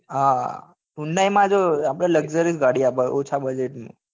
હા hyundai માં જો આપડે luxurious ગાડી આપે ઓછા budget માં